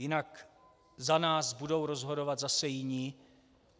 Jinak za nás budou rozhodovat zase jiní.